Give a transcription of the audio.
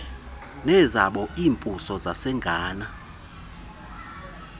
nezabo iimbuso zasangana